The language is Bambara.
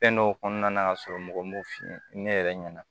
Fɛn dɔw kɔnɔna na ka sɔrɔ mɔgɔ m'o f'i ye ne yɛrɛ ɲɛna